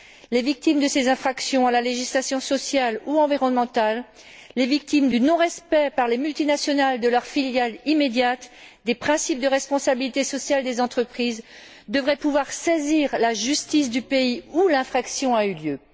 Les victimes de ces infractions à la législation sociale ou environnementale, les victimes du non respect par les multinationales, au détriment de leurs filiales immédiates, des principes de responsabilité sociale des entreprises, devraient pouvoir saisir la justice du pays où l'infraction a eu lieu.